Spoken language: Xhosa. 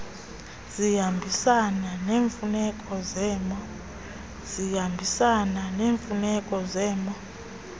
zihambisana neemfuneko zemo